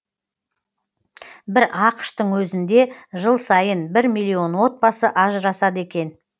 бір ақш тың өзінде жыл сайын бір миллион отбасы ажырасады екен